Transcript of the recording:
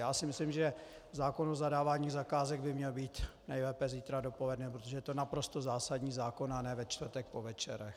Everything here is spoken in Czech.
Já si myslím, že zákon o zadávání zakázek by měl být nejlépe zítra dopoledne, protože to je naprosto zásadní zákon, a ne ve čtvrtek po večerech.